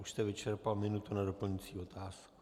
Už jste vyčerpal minutu na doplňující otázku.